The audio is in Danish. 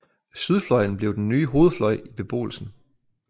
Sydfløjen blev den nye hovedfløj i beboelsen